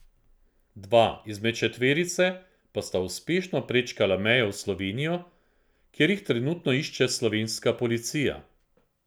Dva izmed četverice pa sta uspešno prečkala mejo v Slovenijo, kjer jih trenutno išče slovenska policija.